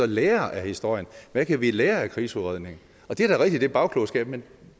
lære af historien hvad kan vi lære af krigsudredningen og det er da rigtigt er bagklogskab men